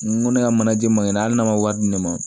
N ko ne ka manajɛ magɛra hali n'a ma wari di ne ma